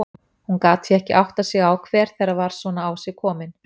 Hún gat því ekki áttað sig á hver þeirra var svona á sig komin.